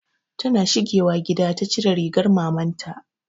Ta na shigiwa gida ta cire rigar maman ta